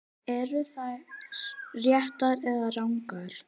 Eru þær réttar eða rangar?